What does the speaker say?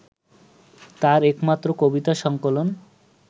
তাঁর একমাত্র কবিতা সংকলন